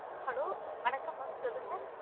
Hello வணக்கம் mam சொல்லுங்க